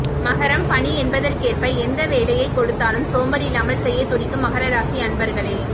மகரம் பணி என்பதற்கேற்ப எந்த வேலையைக் கொடுத்தாலும் சோம்பலில்லாமல் செய்யத் துடிக்கும் மகர ராசி அன்பர்களே